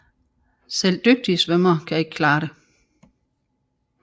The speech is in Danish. Selv dygtige svømmere kan ikke klare det